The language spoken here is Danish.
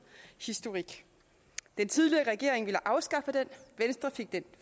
historik den tidligere regering ville afskaffe den venstre fik den